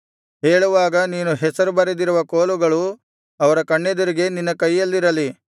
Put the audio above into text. ಹೇಳುವಾಗ ನೀನು ಹೆಸರು ಬರೆದಿರುವ ಕೋಲುಗಳು ಅವರ ಕಣ್ಣೆದುರಿಗೆ ನಿನ್ನ ಕೈಯಲ್ಲಿರಲಿ